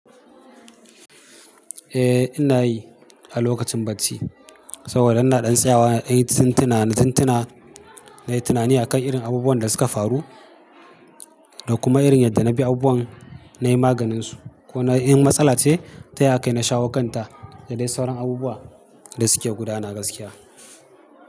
Eh ina yi a lokacin bacci saboda ina ɗan tsayawa nayi tintuna, na yi tunani a kan irin abubuwan da suka faru da kuma irin yadda na bi abubuwan nayi maganinsu ko na yi in matsala ce ta ya kai na shawo kanta da dai sauran abubuwa da suke gudana gaskiya.